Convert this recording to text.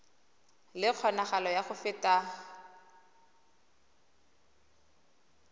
le kgonagalo ya go feta